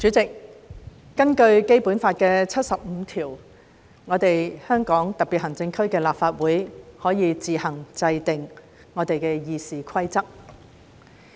主席，根據《基本法》第七十五條，香港特別行政區立法會可以自行制定議事規則。